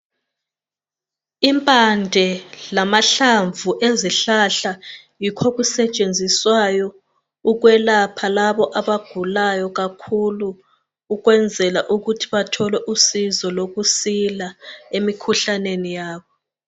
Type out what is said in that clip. Impande lamahlamvu ezihlahla yikho okusetshenziswayo ukwelapha labo abagulayo kakhulu ukwenzela ukuthi bathole usizo lokusila emikhuhlaneni yabo.